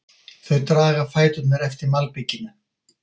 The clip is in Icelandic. Þau draga fæturna eftir malbikinu.